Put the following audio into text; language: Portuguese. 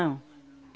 Não.